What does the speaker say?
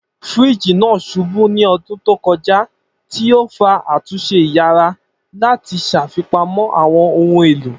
Firiji naa ṣubu ni ọdun to kọja, ti o fa atunṣe iyara lati ṣafipamọ awọn ohun elo.